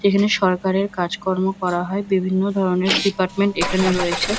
এখানে সরকারের কাজকর্ম করা হয় বিভিন্ন ধরনের ডিপার্টমেন্ট এখানে রয়েছে।